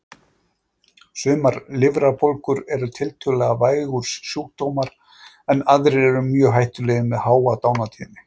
Sumar lifrarbólgur eru tiltölulega vægir sjúkdómar en aðrar eru mjög hættulegar með háa dánartíðni.